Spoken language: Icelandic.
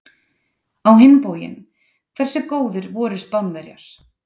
Á hinn bóginn, hversu góðir voru Spánverjar!